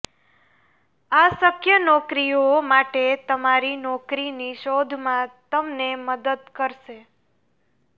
આ શક્ય નોકરીઓ માટે તમારી નોકરીની શોધમાં તમને મદદ કરશે